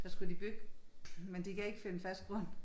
Der skulle de bygge men de kan ikke finde fast grund